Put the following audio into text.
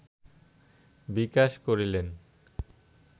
বিকাশ করিলেন